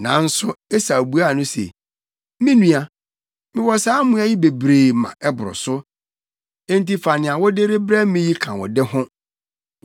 Nanso Esau buaa no se, “Me nua, mewɔ saa mmoa yi bebree ma ɛboro so. Enti fa nea wode rebrɛ me yi ka wo de ho.”